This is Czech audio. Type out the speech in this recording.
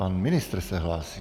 Pan ministr se hlásí.